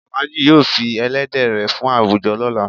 Alhaji yóò fí èlẹ̀dẹ̀ rẹ fún awújọ̀ lọla.